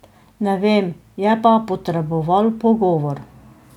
Ne vem, je pa potreboval pogovor.